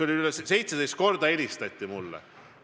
17 korda helistati mulle.